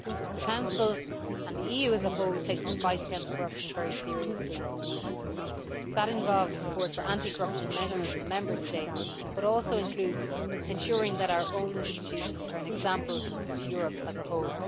The Council and the EU as a whole take the fight against corruption very seriously indeed. That involves support for anti corruption measures in the Member States but also includes ensuring that our own institutions are an example to Europe as a whole.